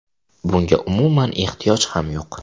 Bunga umuman ehtiyoj ham yo‘q.